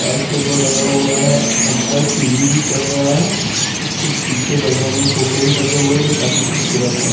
तार टेबल लगा हुआ है अंदर टी_वी भी चल रहा है उसके पीछे बैकग्रॉउंड में फोटो भी लगे हुए हैं जो काफी खूबसूरत हैं।